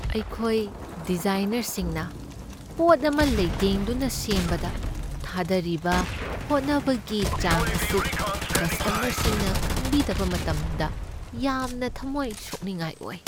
ꯑꯩꯈꯣꯏ ꯗꯤꯖꯥꯏꯅꯔꯁꯤꯡꯅ ꯄꯣꯠ ꯑꯃ ꯂꯩꯇꯦꯡꯗꯨꯅ ꯁꯦꯝꯕꯗ ꯊꯥꯗꯔꯤꯕ ꯍꯣꯠꯅꯕꯒꯤ ꯆꯥꯡ ꯑꯁꯤ ꯀꯁꯇꯃꯔꯁꯤꯡꯅ ꯈꯪꯕꯤꯗꯕ ꯃꯇꯝꯗ ꯌꯥꯝꯅ ꯊꯝꯃꯣꯏ ꯁꯣꯛꯅꯤꯡꯉꯥꯏ ꯑꯣꯏ ꯫